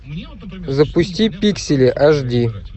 запусти пиксели аш ди